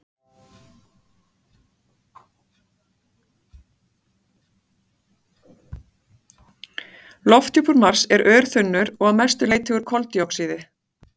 Lofthjúpur Mars er örþunnur og að mestu leyti úr koldíoxíði.